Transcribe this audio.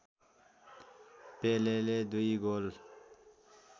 पेलेले दुई गोल